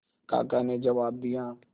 काका ने जवाब दिया